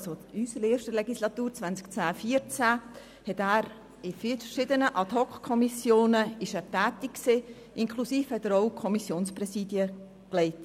In unserer ersten Legislatur 2010– 2014 war er in verschiedenen Ad-hoc-Kommissionen tätig und hatte Kommissionspräsidien inne.